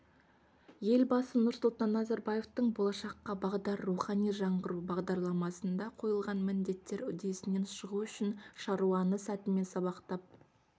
елбасы нұрсұлтан назарбаевтың болашаққа бағдар рухани жаңғыру бағдарламасында қойылған міндеттер үдесінен шығу үшін шаруаны сәтімен сабақтап